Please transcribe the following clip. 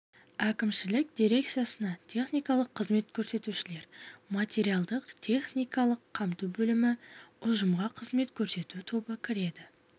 әкімшілік дирекциясына техникалық қызмет көрсетушілер материалдық техникалық қамту бөлімі ұжымға қызмет көрсету тобы кіреді